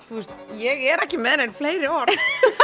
þú veist ég er ekki með nein fleiri orð